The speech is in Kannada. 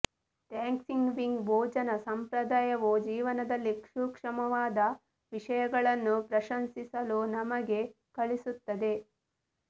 ಥ್ಯಾಂಕ್ಸ್ಗಿವಿಂಗ್ ಭೋಜನ ಸಂಪ್ರದಾಯವು ಜೀವನದಲ್ಲಿ ಸೂಕ್ಷ್ಮವಾದ ವಿಷಯಗಳನ್ನು ಪ್ರಶಂಸಿಸಲು ನಮಗೆ ಕಲಿಸುತ್ತದೆ